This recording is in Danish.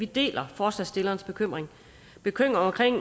deler forslagsstillernes bekymring en bekymring